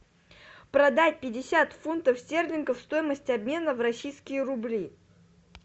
продать пятьдесят фунтов стерлингов стоимость обмена в российские рубли